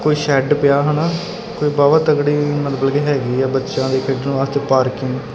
ਕੋਈ ਸ਼ੈਡ ਪਿਆ ਹਨਾ ਕੋਈ ਬਹੁਤ ਤਕੜੀ ਮਤਲਬ ਕਿ ਹੈਗੀ ਆ ਬੱਚਿਆਂ ਦੇ ਖੇਡਣ ਵਾਸਤੇ ਪਾਰਕਿੰਗ ।